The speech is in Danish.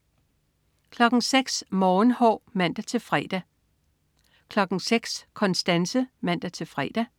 06.00 Morgenhår (man-fre) 06.00 Konstanse (man-fre)